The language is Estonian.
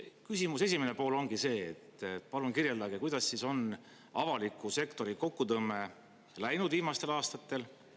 Küsimuse esimene pool ongi see, et palun kirjeldage, kuidas on avaliku sektori kokkutõmme läinud viimastel aastatel.